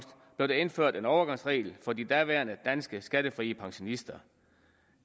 der indført en overgangsregel for de daværende danske skattefrie pensionister